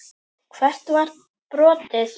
Hvert var brotið?